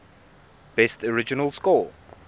best original score